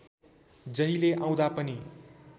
जहिले आउँदा पनि